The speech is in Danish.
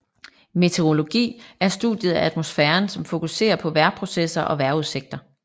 Meteorologi er studiet af atmosfæren som fokuserer på vejrprocesser og vejrudsigter